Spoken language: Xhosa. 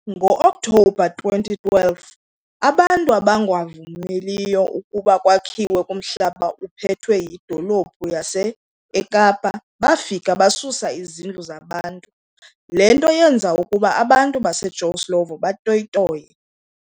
Ngo okthobha 2012 abantu abangavumeliyo ukuba kwakhiwe kumhlaba uphethwe yi dolophu yas'Ekapa bafika basusa izindlu zabantu, lento yenza ukuba abantu base Joe Slovo baToyitoye.